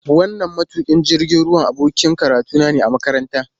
Wannan matukin jirgin ruwa abokin karatuna ne a makaranta.